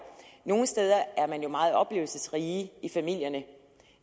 nogle steder er man jo meget oplevelsesrige i familierne i